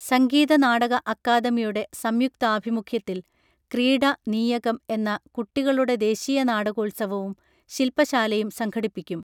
സംഗീത നാടക അകാദമിയുടെ സംയുക്താഭിമുഖ്യത്തിൽ ക്രീഡ നീയകം എന്ന കുട്ടികളുടെ ദേശീയ നാടകോൽസവവും ശിൽപ ശാലയും സംഘടിപ്പിക്കും